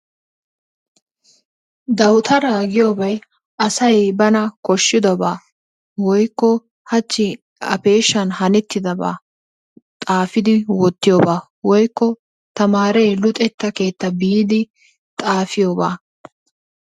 Dawutaara giyobay asay bana koshiddabaa woykko hachchi a peeshshan hanettidabaa xaafidi wottiyoba woykko tamaaree luxetta keettaa biidi xaafiyoba.